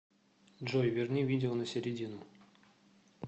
джой верни видео на середину